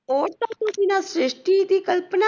ਸ਼੍ਰਿਸ਼ਟੀ ਦੀ ਕਲਪਨਾ